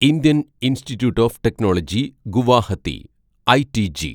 Indian institute of technology Guwahati (ഐടിജി)